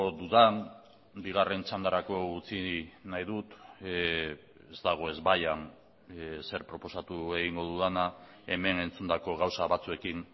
dudan bigarren txandarako utzi nahi dut ez dago ezbaian zer proposatu egingo dudana hemen entzundako gauza batzuekin